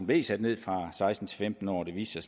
blev sat ned fra seksten til femten år og det viste